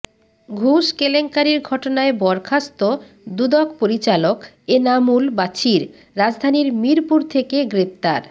ঘুষ কেলেঙ্কারির ঘটনায় বরখাস্ত দুদক পরিচালক এনামুল বাছির রাজধানীর মিরপুর থেকে গ্রেপ্তার